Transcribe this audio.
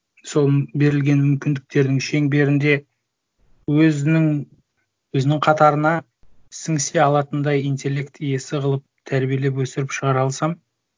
сол берілген мүмкіндіктердің шеңберінде өзінің өзінің қатарына сіңісе алатындай интеллект иесі қылып тәрбиелеп өсіріп шығара алсам